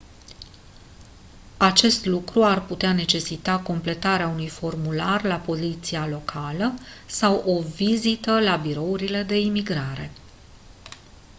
acest lucru ar putea necesita completarea unui formular la poliția locală sau o vizită la birourile de imigrare